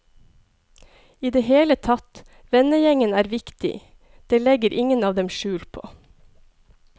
I det hele tatt, vennegjengen er viktig, det legger ingen av dem skjul på.